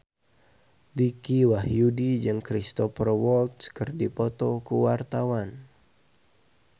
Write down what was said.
Dicky Wahyudi jeung Cristhoper Waltz keur dipoto ku wartawan